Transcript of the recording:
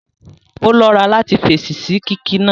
Ó lọ́ra láti fèsì sí kíkí náà